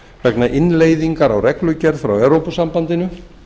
vegna innleiðingar á reglugerð frá evrópusambandinu